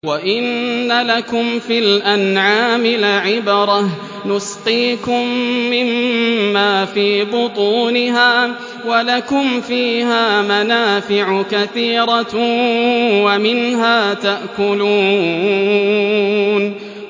وَإِنَّ لَكُمْ فِي الْأَنْعَامِ لَعِبْرَةً ۖ نُّسْقِيكُم مِّمَّا فِي بُطُونِهَا وَلَكُمْ فِيهَا مَنَافِعُ كَثِيرَةٌ وَمِنْهَا تَأْكُلُونَ